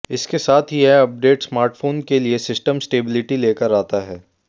इसके साथ ही यह अपडेट स्मार्टफोन के लिए सिस्टम स्टेब्लिटी लेकर आता है